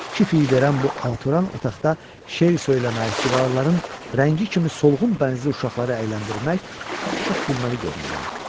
Kif iyi verən bu alatoran otaqda şeir söyləmək, divarların rəngi kimi solğun bənizli uşaqlara əyləndirmək çox gülməli göründü ona.